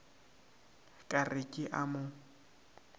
ka re ke a mo